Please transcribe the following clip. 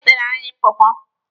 Ha weteere anyị pọọpọọ.